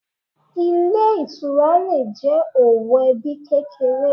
Ilé Ìtura le è jẹ́ òwò ebí kékeré